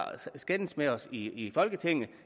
skændes med os i folketinget